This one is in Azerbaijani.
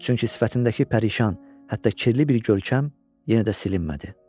Çünki sifətindəki pərişan, hətta kirli bir görkəm yenə də silinmədi.